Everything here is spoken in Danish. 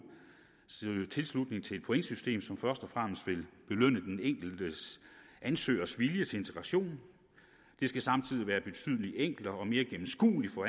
søge tilslutning til et pointsystem som først og fremmest vil belønne den enkelte ansøgers vilje til integration det skal samtidig være betydelig enklere og mere gennemskueligt